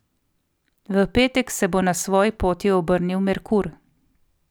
V petek se bo na svoji poti obrnil Merkur.